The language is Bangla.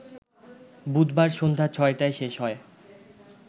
বুধবার সন্ধ্যা ৬টায় শেষ হয়